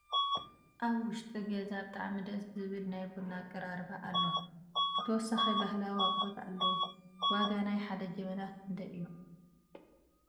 ኣብ ዉሽጢ ገዛ ብጣዕሚ ደስ ዝብል ናይ ቡና ኣቀራርባ ኣሎ ብተወሳኪ ባህላዊ ኣቁሕት ኣለዉ ። ዋጋ ናይ ሓደ ጀበና ክንደይ እዩ ?